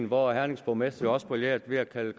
hvor hernings borgmester også brillerede ved at kalde